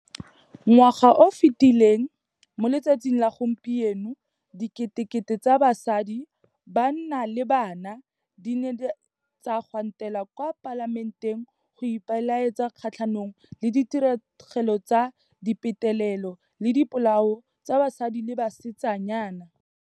Ngwaga o o fetileleng, mo letsatsing la gompieno, diketekete tsa basadi, banna le bana di ne tsa gwantela kwa Palamenteng go ipelaetsa kgatlhanong le ditiragalo tsa dipetelelo le dipolao tsa basadi le basetsanyana.